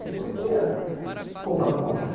Não havia roupa para comprar.